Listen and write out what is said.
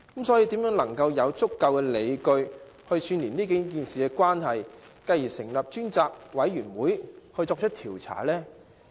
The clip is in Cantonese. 所以，如何能有足夠理據串連這數件事情的關係，以支持成立專責委員會作出調查？